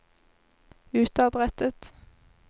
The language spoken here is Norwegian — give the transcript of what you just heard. utadrettet